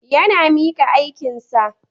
Yana mika aikinka.